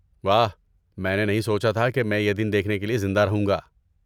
واہ، میں نے نہیں سوچا تھا کہ میں یہ دن دیکھنے کے لیے زندہ رہوں گا۔